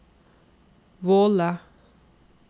Våle